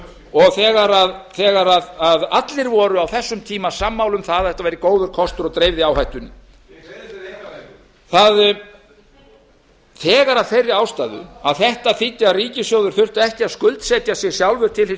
og þegar allir voru á þessum tíma sammála um að þetta væri góður kostur og dreifði áhættunni þegar af þeirri ástæðu að þetta þýddi að ríkissjóður þurfti ekki að skuldsetja sig sjálfur til hins